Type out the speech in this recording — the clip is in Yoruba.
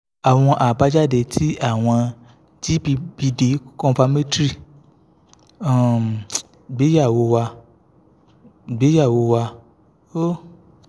awọn abajade ti awọn gbpd confirmatory um igbeyewo wà igbeyewo wà ó